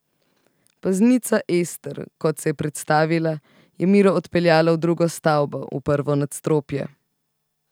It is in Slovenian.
Paznica Ester, kot se je predstavila, je Miro odpeljala v drugo stavbo, v prvo nadstropje.